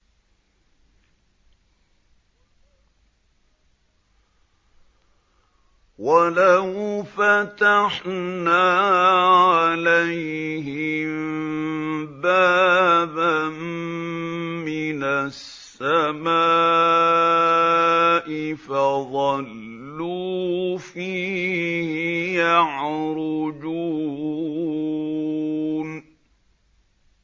وَلَوْ فَتَحْنَا عَلَيْهِم بَابًا مِّنَ السَّمَاءِ فَظَلُّوا فِيهِ يَعْرُجُونَ